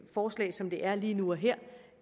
forslag som det er lige nu og her